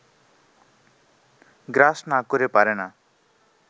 গ্রাস না করে পারে না